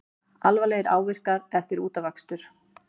Alvarlegir áverkar eftir útafakstur